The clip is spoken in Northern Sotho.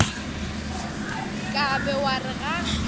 ka be wa re ga